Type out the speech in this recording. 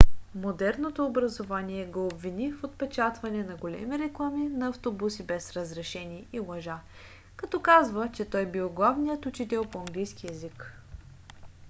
модерното образование го обвини в отпечатване на големи реклами на автобуси без разрешение и лъжа като казва че той бил главният учител по английски език